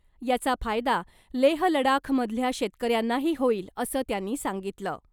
याचा फायदा लेह लडाखमधल्या शेतकऱ्यांनाही होईल , असं त्यांनी सांगितलं .